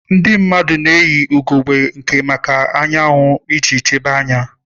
Ndị mmadụ na-eyi ugogbe anya maka anwụ iji chebe anya.